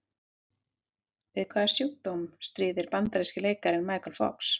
Við hvaða sjúkdóm stríðir bandaríski leikarinn Michael Fox?